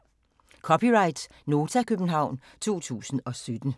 (c) Nota, København 2017